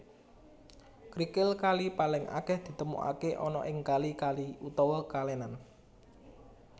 Krikil kali paling akeh ditemukake ana ing kali kali utawa kalenan